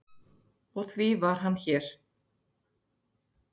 Og því var hann hér.